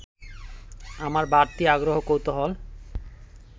আমার বাড়তি আগ্রহ-কৌতূহল